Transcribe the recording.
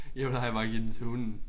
Jeg plejer bare give den til hunden